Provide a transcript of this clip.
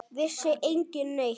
Vissi enginn neitt?